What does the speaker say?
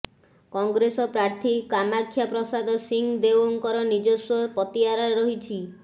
କଂଗ୍ରେସ ପ୍ରାର୍ଥୀ କାମାକ୍ଷା ପ୍ରସାଦ ସିଂ ଦେଓଙ୍କର ନିଜସ୍ବ ପତିଆରା ରହିଛି